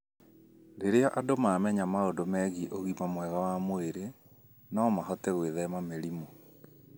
Rĩrĩa andũ mamenya maũndũ megiĩ ũgima mwega wa mwĩrĩ, no mahote gwĩthema mĩrimũ.